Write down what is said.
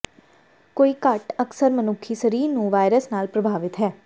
ਕੋਈ ਘੱਟ ਅਕਸਰ ਮਨੁੱਖੀ ਸਰੀਰ ਨੂੰ ਵਾਇਰਸ ਨਾਲ ਪ੍ਰਭਾਵਿਤ ਹੈ